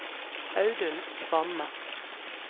Audun Kvamme